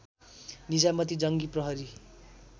निजामती जङ्गी प्रहरी